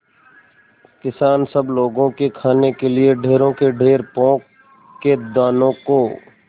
किसान सब लोगों के खाने के लिए ढेरों के ढेर पोंख के दानों को